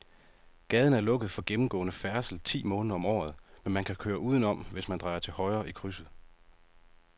Gaden er lukket for gennemgående færdsel ti måneder om året, men man kan køre udenom, hvis man drejer til højre i krydset.